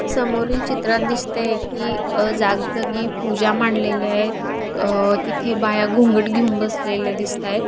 समोरील चित्रात दिसतय कि जाग जागी पूजा मांडेलल्या येत. अ तिथे बाया घुंगट घेऊन बसलेल्या दिसत आहेत.